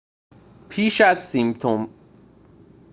پیش از سیمپسون‌ها سایمون در چندین نمایش در موقعیت‌های مختلف کار کرده بود